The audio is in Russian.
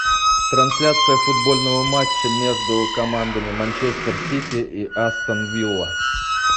трансляция футбольного матча между командами манчестер сити и астон вилла